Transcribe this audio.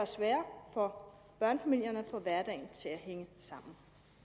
sværere for børnefamilierne at få hverdagen til at hænge sammen